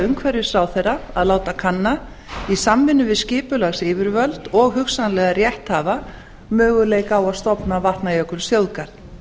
umhverfisráðherra að láta kanna í samvinnu við skipulagsyfirvöld og hugsanlega rétthafa möguleika á að stofna vatnajökulsþjóðgarð